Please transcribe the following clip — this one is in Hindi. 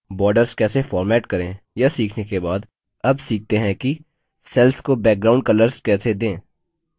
borders कैसे format करें यह सीखने के बाद अब सीखते हैं कि cells को background colors कैसे दें